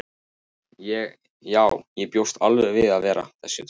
Já, ég bjóst alveg við að vera í þessum hóp.